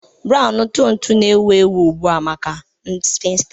Brown ntụ ntụ na-ewu ewu ugbu a maka sphinsters